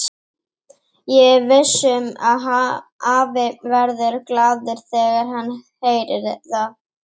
Ég er viss um að afi verður glaður þegar hann heyrir það.